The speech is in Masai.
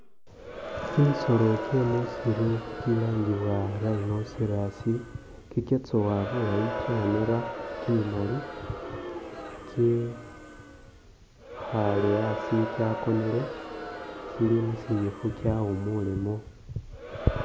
Kimisoolo gyemusiru kilangibwa rhino cerise kigyatsowa bulaayi kyanera kimimaali kye-khale asi kyakonele kili musinyifu kyawumulemo